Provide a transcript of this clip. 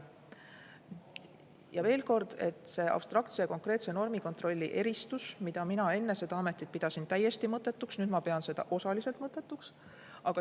Ja veel kord: see abstraktse ja konkreetse normikontrolli eristus, mida mina enne seda ametit pidasin täiesti mõttetuks, nüüd ma pean seda osaliselt mõttetuks.